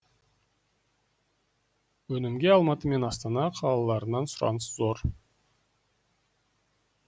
өнімге алматы мен астана қалаларынан сұраныс зор